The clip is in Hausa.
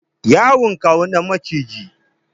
Yayi kyawun ɗan maciji.